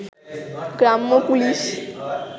গ্রাম্য পুলিশ